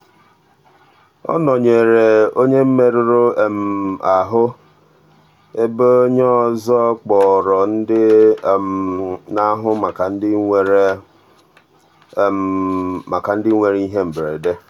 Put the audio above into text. ọ nọnyeere onye nke merụrụ ahụ ebe onye ọzọ kpọrọ ndị na-ahụ maka ndị nwere maka ndị nwere ihe mberede.